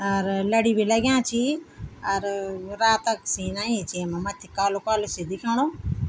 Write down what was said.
अर लड़ी भी लग्याँ छी अर रात क सीन अयीं च येमा मथ्थी कालू कालू सी दिखेणु।